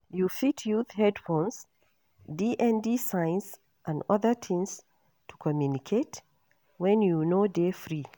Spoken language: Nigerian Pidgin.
You fit use headphones, DND signs and oda things to communicate when you no dey free